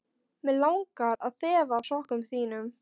Mig langar að þefa af sokkum þínum.